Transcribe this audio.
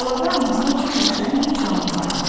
Talada anasına çox oxşayan bir canlı var idi.